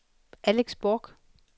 Alex Bork